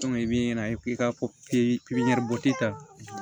i bi na i ka ta